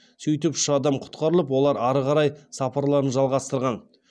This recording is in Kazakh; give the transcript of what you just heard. сөйтіп үш адам құтқарылып олар ары қарай сапарларын жалғастырған